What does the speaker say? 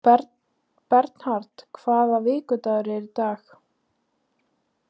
Bernharð, hvaða vikudagur er í dag?